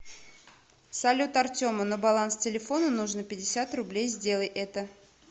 салют артему на баланс телефона нужно пятьдесят рублей сделай это